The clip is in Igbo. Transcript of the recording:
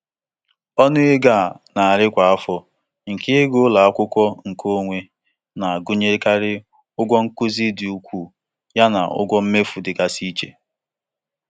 Ọnụ ego a na-eri kwa afọ nke ịga ụlọ akwụkwọ nkeonwe na-agụnyekarị ụgwọ nkuzi dị ukwuu yana ụgwọ mmefu dịgasị iche.